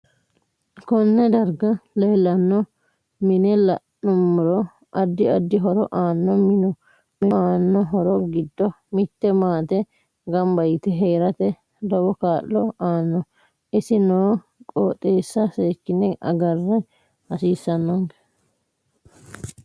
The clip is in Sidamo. Konne darga leelanno mine la'anumoro addi addi horo aanno minu aanno horo giddo mitte maate ganba yite heerate lowo kaa'lo aano isi noo qooxeesa seekine agra hasiisanonke